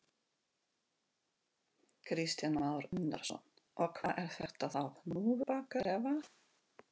Kristján Már Unnarsson: Og hvað er þetta þá hnúfubakar eða?